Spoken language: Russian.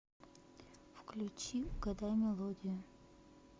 включи угадай мелодию